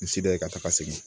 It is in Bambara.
Misida ye ka taga segi